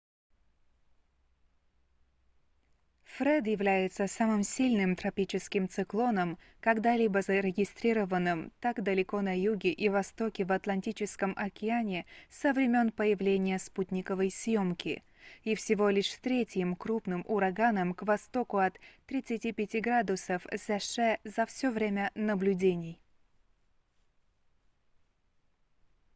фред является самым сильным тропическим циклоном когда-либо зарегистрированным так далеко на юге и востоке в атлантическом океане со времен появления спутниковой съемки и всего лишь третьим крупным ураганом к востоку от 35 градусов з ш за всё время наблюдений